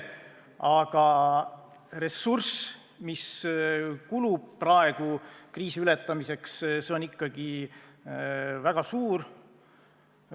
Aga ressurss, mis kulub praegu kriisi ületamiseks, on ikkagi väga suur.